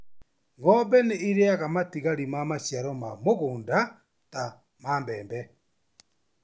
Ng'ombe nĩ ĩriaga matigari ma maciaro ma mũgũnda ta ma mbembe.